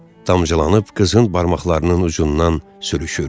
Damcılanıb qızın barmaqlarının ucundan sürüşürdü.